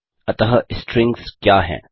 अतः स्ट्रिंग्स क्या हैं